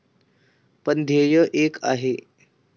पण, ध्येय एक आहे.